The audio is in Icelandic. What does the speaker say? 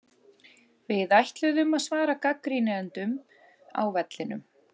Við ætluðum að svara gagnrýnendum á vellinum.